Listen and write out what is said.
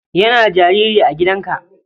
Yana da jariri a gidanka.